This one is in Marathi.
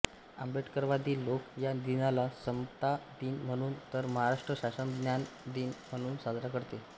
आंबेडकरवादी लोक या दिनाला समता दिन म्हणून तर महाराष्ट्र शासन ज्ञान दिन म्हणून साजरा करते